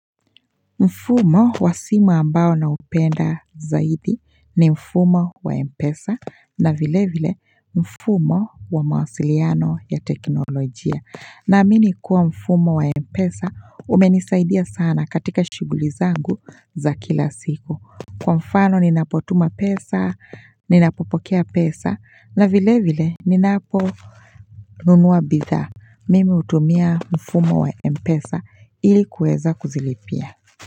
Mfumo wa simu ambao naupenda zaidi ni mfumo wa Mpesa na vile vile mfumo wa mawasiliano ya teknolojia. Naamini kuwa mfumo wa Mpesa umenisaidia sana katika shuguli zangu za kila siku. Kwa mfano ninapotuma pesa, ninapopokea pesa na vile vile ninapo nunua bidhaa. Mimi utumia mfumo wa Mpesa ili kuweza kuzilipia.